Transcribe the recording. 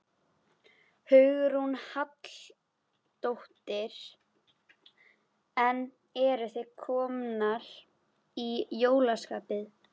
Hugrún Halldórsdóttir: En eruð þið komnar í jólaskap?